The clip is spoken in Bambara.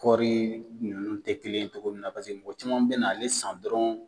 Kɔri ninnu tɛ kelen ye cogo min na ko caman bɛna ale san dɔrɔn